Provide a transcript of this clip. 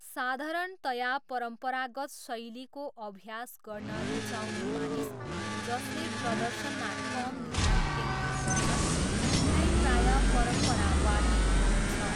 साधारणतया परम्परागत शैलीको अभ्यास गर्न रुचाउने मानिस, जसले प्रदर्शनमा कम ध्यान केन्द्रित गर्छन्, उनलाई प्रायः परम्परावादी भनिन्छ।